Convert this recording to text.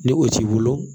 Ni o t'i bolo